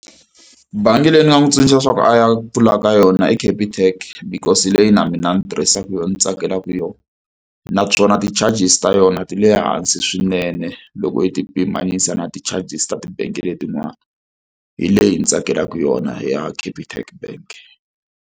Bangi leyi ni nga n'wi tsundzuxa leswaku a ya pfulaka yona i Capitec because hi leyi na mina ni tirhisaka yona, ndzi tsakelaka yona. Naswona ti-charges ta yona ti le hansi swinene loko hi ti pimanyisa na ti-charges ta ti-bank letin'wana. Hi leyi ndzi tsakelaka yona ya Capitec Bank.